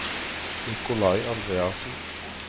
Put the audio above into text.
Nicolai Andreassen